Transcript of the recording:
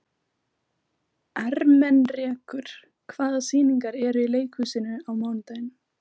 Ermenrekur, hvaða sýningar eru í leikhúsinu á mánudaginn?